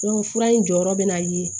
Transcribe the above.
fura in jɔyɔrɔ bɛna ye